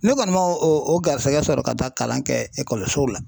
Ne kɔni ma o o garisɛgɛ sɔrɔ ka taa kalan kɛ so la.